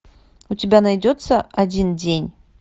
у тебя найдется один день